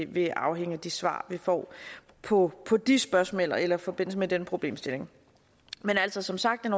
vil afhænge af de svar vi får på på de spørgsmål eller eller i forbindelse med den problemstilling men altså som sagt er